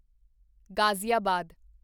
Ghaziabad